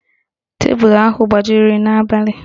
Tebulu ahụ gbajiri n'abalị